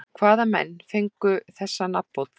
Hvaða menn fengu þessa nafnbót þá?